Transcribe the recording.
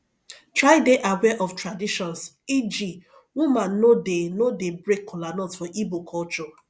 try de aware of traditions eg woman no de no de break kolanut for igbo culture